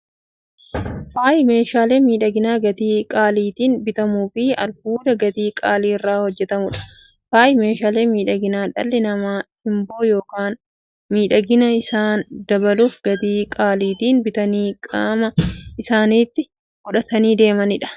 Faayyi meeshaalee miidhaginaa gatii qaalitiin bitamuufi albuuda gatii qaalii irraa hojjatamuudha. Faayyi meeshaalee miidhaginaa, dhalli namaa simboo yookiin miidhagina isaanii dabaluuf, gatii qaalitiin bitanii qaama isaanitti qodhatanii deemaniidha. Faayyi Kunis; faaya mormaa, kan harkaa, kan gurraafi kan kana fakkataniidha.